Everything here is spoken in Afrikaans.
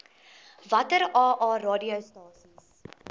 watter aa radiostasies